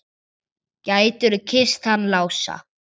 Gætirðu kysst hann Lása?